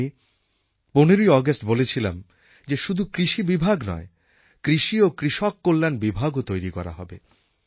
তাই আমি ১৫ই অগাস্ট বলেছিলাম যে শুধু কৃষি বিভাগ নয় কৃষি ও কৃষককল্যাণ বিভাগও তৈরি করা হবে